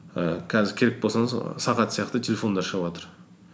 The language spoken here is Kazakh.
ііі қазір керек і болсаңыз сағат сияқты телефондар шығыватыр